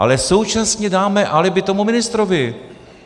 Ale současně dáme alibi tomu ministrovi.